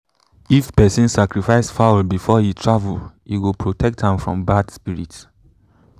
if person sacrifice fowl before he travel e go protect am from bad spirit.